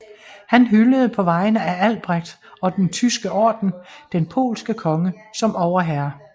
Han hyldede på vegne af Albrecht og den Tyske Orden den polske konge som overherre